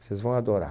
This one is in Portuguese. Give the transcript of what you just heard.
Vocês vão adorar.